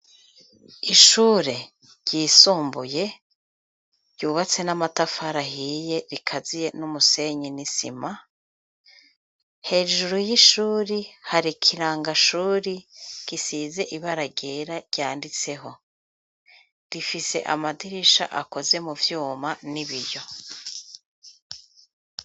Ishure ryisumbuye ryubatse n'amatafara hiye rikaziye n'umusenyi n'isima hejuru y'ishuri hari kirangashuri risize ibaragera ryanditseho rifise amadirisha akoze mu vyuma n'ibiyo.